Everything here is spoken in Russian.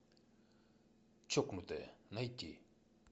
чокнутые найти